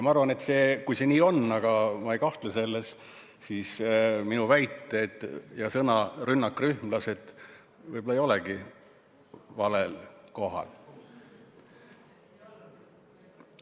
Ma arvan, et kui see nii on – aga ma ei kahtle selles –, siis minu väited ja sõna "rünnakrühmlased" võib-olla ei olegi valel kohal.